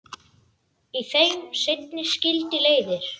Í þeim seinni skildi leiðir.